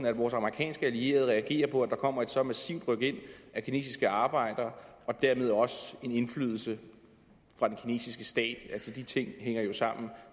at vores amerikanske allierede reagerer på at der kommer et så massivt rykind af kinesiske arbejdere og dermed også en indflydelse fra den kinesiske stats de ting hænger jo sammen